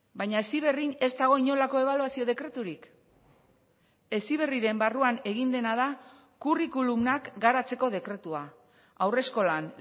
baina heziberrin ez dago inolako ebaluazio dekreturik heziberriren barruan egin dena da curriculumak garatzeko dekretua haurreskolan